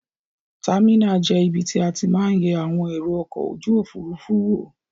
Támìnà je ibi tí a ti ma n ye àwon èrò okò ojúòfurufú wo.